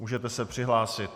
Můžete se přihlásit.